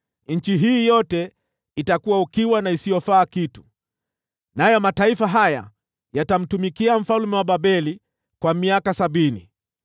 Nchi hii yote itakuwa ukiwa na isiyofaa kitu, nayo mataifa haya yatamtumikia mfalme wa Babeli kwa miaka sabini.”